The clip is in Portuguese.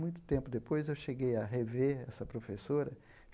Muito tempo depois, eu cheguei a rever essa professora.